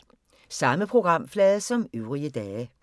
Samme programflade som øvrige dage